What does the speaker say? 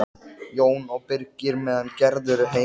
Jón og Birgir meðan Gerður er heima.